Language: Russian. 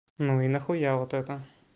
ну и нахуя вот это